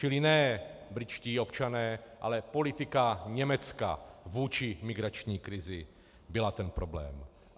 Čili ne britští občané, ale politika Německa vůči migrační krizi byla ten problém.